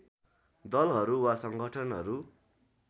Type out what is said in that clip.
दलहरू वा संगठनहरू